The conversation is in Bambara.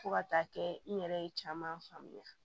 Fo ka taa kɛ n yɛrɛ ye caman faamuya